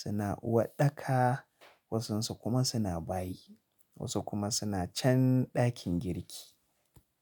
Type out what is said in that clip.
suna waɗaka, wasunsu kuma suna bayi, wasu kuma suna chan ɗakin girki.